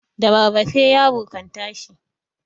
da rarrafe yaro kan tashi